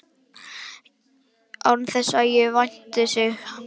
Án þess að ég vænti hans.